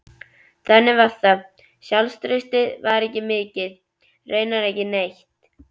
Þannig var það, sjálfstraustið var ekki mikið, raunar ekki neitt.